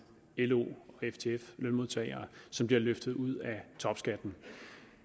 lo og ftf lønmodtagere som bliver løftet ud af topskatten